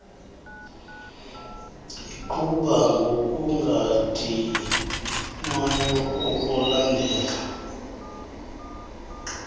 iqhuba ngokungadinwayo ukulandela